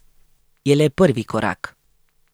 Je le prvi korak.